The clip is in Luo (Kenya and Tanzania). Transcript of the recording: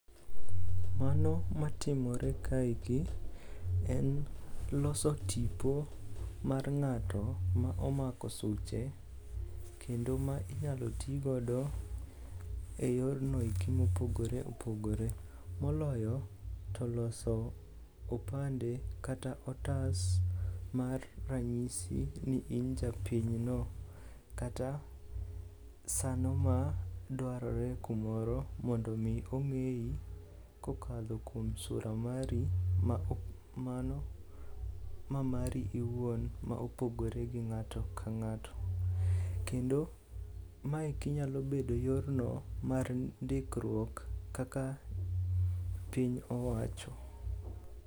Mano matimore kaeki en loso tipo mar ng'ato ma omako suche kendo ma inyalo tigodo e yorno eki mopogore opogore, moloyo to loso opande kata otas mar ranyisi ni in japinyno kata sano madwarore kumoro mondo omi omiyi kokadho kuom sura mari mano mamari iwuon ma opogoire gi ng'ato ka ng'ato. Kendo maeki nyalo bedo yorno mar ndikruok kaka piny owacho.